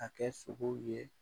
A kɛ sogow ye